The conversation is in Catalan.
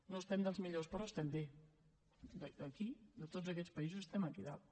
no estem dels millors però estem bé d’aquí de tots aquests països estem aquí dalt